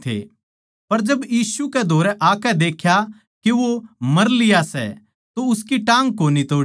पर जिब यीशु कै धोरै आकै देख्या के वो मर लिया सै तो उसकी टाँग कोनी तोड़ी